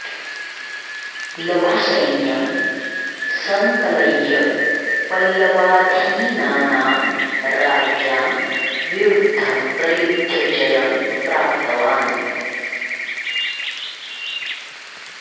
लघुसैन्यं सङ्कलय्य पल्लवाधीनानां राज्ञां विरुद्धं प्रयुद्ध्य जयं प्राप्तवान्